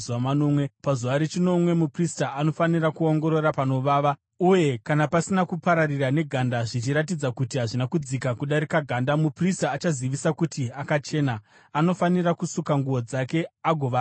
Pazuva rechinomwe muprista anofanira kuongorora panovava, uye kana pasina kupararira neganda zvichiratidza kuti hazvina kudzika kudarika ganda, muprista achazivisa kuti akachena. Anofanira kusuka nguo dzake agova akachena.